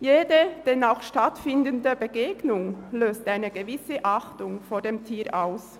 Jede Begegnung, wenn sie denn stattfindet, löst eine gewisse Achtung vor dem Tier aus.